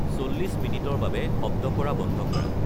চল্লিশ মিনিটৰ বাবে শব্দ কৰা বন্ধ কৰা